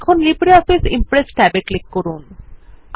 এখন LibreOffice Impress tab এ click করুন